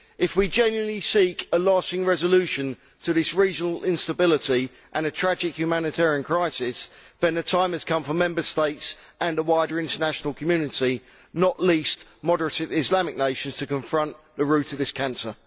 If we genuinely seek a lasting resolution to this regional instability and a tragic humanitarian crisis, then the time has come for Member States and a wider international community, not least moderate Islamic nations, to confront the root of this cancer.